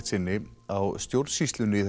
sinni á stjórnsýslunni í